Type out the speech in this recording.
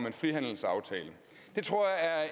én frihandelsaftale